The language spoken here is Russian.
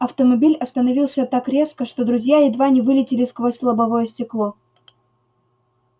автомобиль остановился так резко что друзья едва не вылетели сквозь лобовое стекло